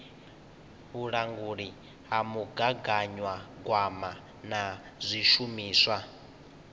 vhulanguli ha mugaganyagwama na zwishumiswa